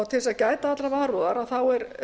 til að gæta allrar varúðar er